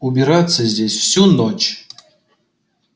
убираться здесь всю ночь